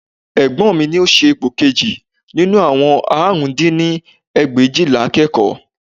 Egbọ́n mi ni ó ṣe ipò kejì nínú àwọn àrùn dín ní ẹgbẹ̀éjìlá akẹ́kọ̀ọ́